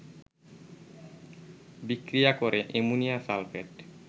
বিক্রিয়া করে ammonium sulphate